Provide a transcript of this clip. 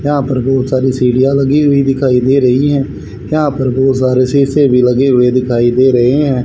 यहां पर बहोत सारी सीढ़ियां लगी हुई दिखाई दे रही है यहां पर बहोत सारे शीशे लगे हुए दिखाई दे रहे हैं।